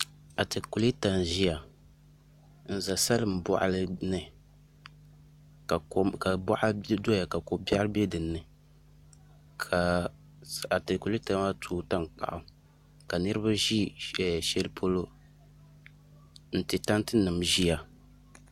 Atakulɛta n ʒɛya n bɛ salin boɣali ni ka boɣa doya ka ko biɛri bɛ dinni ka atakulɛta maa tooi tankpaɣu ka niraba ʒi shɛli polo n ti tanti nim ʒiya